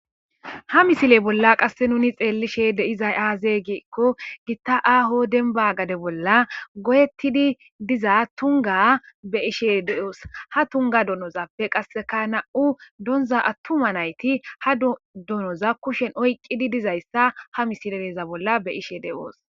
ha misile bolla qasse nuni xeellishe de'izay aaze giekko gitta aaho denba gade bolla godettidi diza tunga be ishe de7oos ha tunga donozappe qasseka na7u doonza attuma nayti ha donoza kushen oyqqidi dizayssa ha misileeza bolla be ishe de7oos